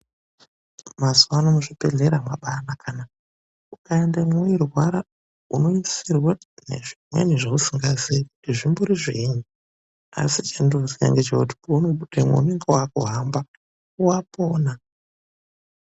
Mazuwano muzvibhehlera mwabaanaka naaa. Ukaendemwo weirwara, unoisirwe nezvimweni zvausikazii kuti zvimbori zvinyini, asi chendinoziya ngechekuti peunobudemo unenge wakuhamba wapona.